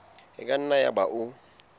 e ka nna yaba o